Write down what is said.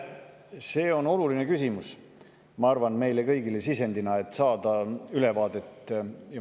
See on oluline küsimus, ma arvan, meile kõigile, et saada ülevaadet ja sisendit.